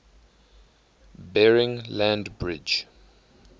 bering land bridge